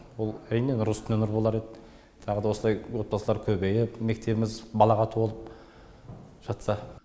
ол әрине нұр үстіне нұр болар еді тағы да осылай отбасылар көбейіп мектебіміз балаға толып жатса